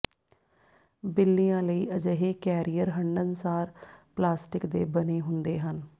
ਬਿੱਲੀਆ ਲਈ ਅਜਿਹੇ ਕੈਰੀਅਰ ਹੰਢਣਸਾਰ ਪਲਾਸਟਿਕ ਦੇ ਬਣੇ ਹੁੰਦੇ ਹਨ